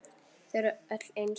Þau eru öll eins.